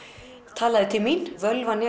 talaði til mín